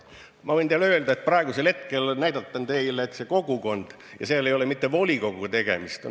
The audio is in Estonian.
Ma võin teile öelda, et seal ei ole mitte volikoguga tegemist.